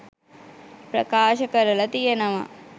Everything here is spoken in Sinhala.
ප්‍රකාශ කරල තියෙනවා.